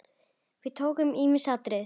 Við tókum ýmis atriði.